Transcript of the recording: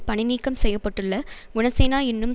பணி நீக்கம் செய்ய பட்டுள்ள குணசேனா என்னும்